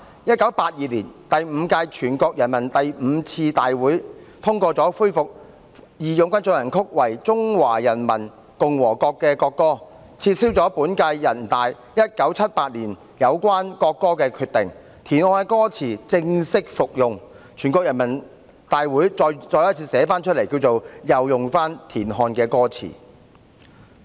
1982年，第五屆全國人大第五次會議通過恢復"義勇軍進行曲"為中華人民共和國國歌，撤銷本屆全國人大於1978年有關國歌的決定，田漢的歌詞正式復用，全國人大再次批准使用田漢的歌詞。